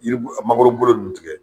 Yiri mangorobolo ninnu tigɛ.